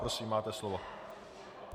Prosím, máte slovo.